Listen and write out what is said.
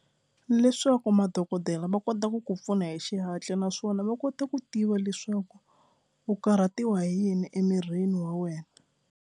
Leswaku madokodela va kota ku ku pfuna hi xihatla naswona va kota ku tiva leswaku u karhatiwa hi yini emirini wa wena.